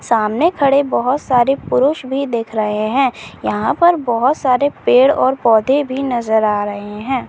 सामने खड़े बहुत सारे पुरुष भी दिख रहे है यहाँ पर बहुत सारे पेड़ और पौधे भी नज़र आ रहे है।